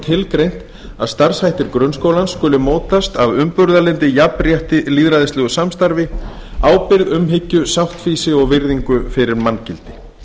tilgreint að starfshættir grunnskólans skuli mótast af umburðarlyndi jafnrétti lýðræðislegu samstarfi ábyrgð umhyggju sáttfýsi og virðingu fyrir manngildi